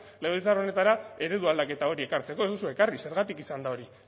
legebiltzar honetara eredu aldaketa hori ekartzeko ez duzue ekarri zergatik izan da hori